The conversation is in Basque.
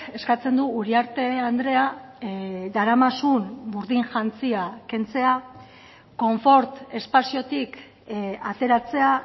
eskatzen du uriarte andrea daramazun burdin jantzia kentzea konfort espaziotik ateratzea